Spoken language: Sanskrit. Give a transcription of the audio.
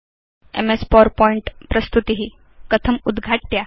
एमएस पावरपॉइंट प्रस्तुति कथम् उद्घाट्या